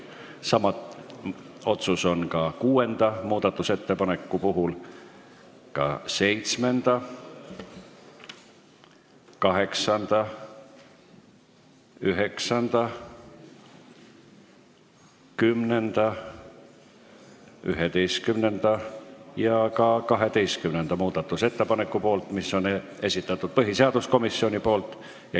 Sama otsus on tehtud ka kuuenda, samuti seitsmenda, kaheksanda, üheksanda, kümnenda, 11. ja 12. muudatusettepaneku kohta, mille on esitanud põhiseaduskomisjon.